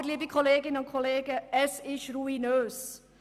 Aber, liebe Kolleginnen und Kollegen, es ist ruinös.